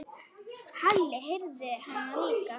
Halli heyrði hana líka.